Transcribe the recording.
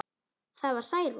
Það var Særún.